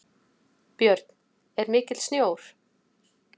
Björn: Er mikill sjór?